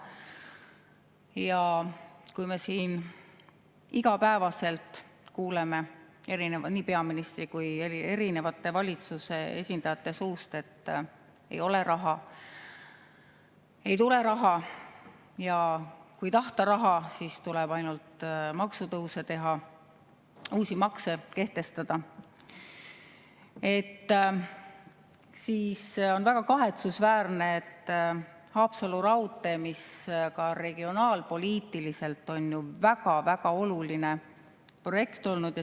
Ja kui me siin iga päev kuuleme nii peaministri kui ka valitsuse esindajate suust, et ei ole raha, ei tule raha, ja kui tahta raha, siis tuleb ainult maksutõuse teha ja uusi makse kehtestada, siis on väga kahetsusväärne, et Haapsalu raudtee, mis ka regionaalpoliitiliselt on väga-väga oluline projekt olnud …